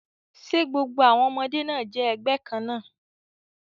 Ṣe gbogbo àwọn ọmọdé náà jẹ́ ẹgbẹ́ kan náà?